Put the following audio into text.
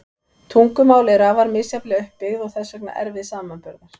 Tungumál eru afar misjafnlega upp byggð og þess vegna erfið samanburðar.